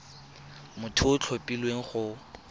motho yo o tlhophilweng go